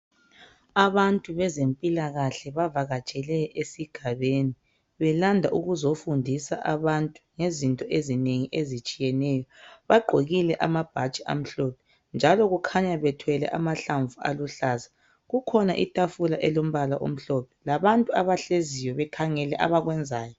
Abantu bezempilakahle bavakatshele esigabeni belanda ukuzofundisa abantu ngezinto ezinengi ezitshiyeneyo bagqokile amabhatshi amhlophe njalo kukhanya bethwele amahlamvu aluhlaza kukhona itafula elombala omhlophe labantu abahleziyo bekhangele abakwenzayo.